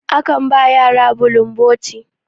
akan ba yara bulun boti